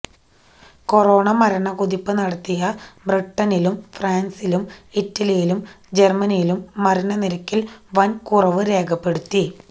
corona മരണ കുതിപ്പ് നടത്തിയ ബ്രിട്ടനിലും ഫ്രാൻസിലും ഇറ്റലിയിലും ജർമനിയിലും മരണ നിരക്കിൽ വൻ കുറവ് രേഖപ്പെടുത്തി